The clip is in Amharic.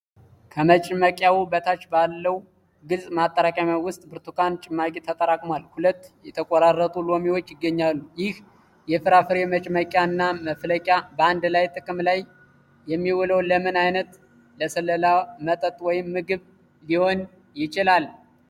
ከመጭመቂያው በታች ባለው ግልጽ ማጠራቀሚያ ውስጥ ብርቱካን ጭማቂ ተጠራቅሟል፤ ሁለት የተቆራረጡ ሎሚዎች ይገኛሉ። ይህ የፍራፍሬ መጭመቂያ እና መፍቂያ በአንድ ላይ ጥቅም ላይ የሚውሉት ለምን አይነት ለስላሳ መጠጥ (Smoothie) ወይም ምግብ ሊሆን ይችላል?